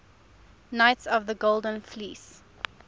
knights of the golden fleece